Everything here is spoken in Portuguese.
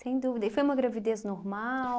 Sem dúvida, e foi uma gravidez normal?